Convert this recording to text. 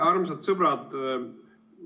Armsad sõbrad!